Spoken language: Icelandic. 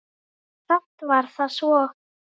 Samt var það svo.